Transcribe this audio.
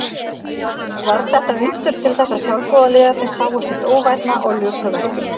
Varð þetta undur til þess að sjálfboðaliðarnir sáu sitt óvænna og luku verkinu.